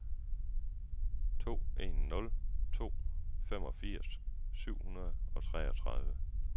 to en nul to femogfirs syv hundrede og treogtredive